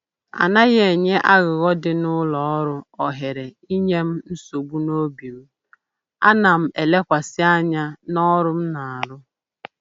Anaghị enye aghụghọ dị n'ụlọ ọrụ ohere inye m nsogbu n'obi m, ana m elekwasị anya n'ọrụ m na-arụ